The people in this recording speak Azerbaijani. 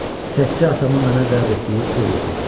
Təkcə atamın mənə vəd etdiyi pul yox idi.